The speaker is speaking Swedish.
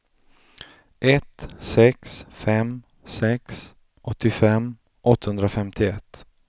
ett sex fem sex åttiofem åttahundrafemtioett